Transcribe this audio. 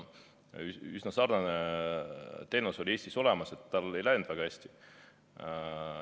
Üsna sarnane teenus oli Eestis olemas, aga sel ei läinud väga hästi.